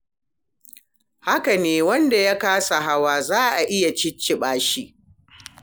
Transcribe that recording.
Haka nan wanda ya kasa hawa, za a iya cicciɓa shi.